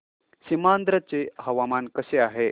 सीमांध्र चे हवामान कसे आहे